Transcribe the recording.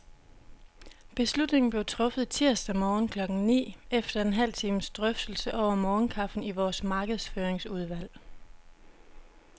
Beslutningen blev truffet tirsdag morgen klokken ni, efter en halv times drøftelse over morgenkaffen i vores markedsføringsudvalg.